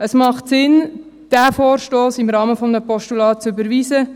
Es macht Sinn, diesen Vorstoss im Rahmen eines Postulats zu überweisen.